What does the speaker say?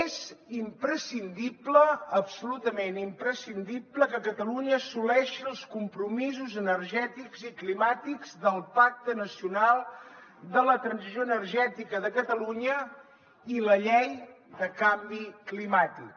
és imprescindible absolutament imprescindible que catalunya assoleixi els compromisos energètics i climàtics del pacte nacional de la transició energètica de catalunya i la llei de canvi climàtic